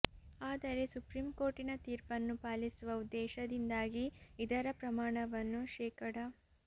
ಆದರೆ ಸುಪ್ರೀಂ ಕೋರ್ಟಿನ ತೀರ್ಪನ್ನು ಪಾಲಿಸುವ ಉದ್ದೇಶದಿಂದಾಗಿ ಇದರ ಪ್ರಮಾಣವನ್ನು ಶೇ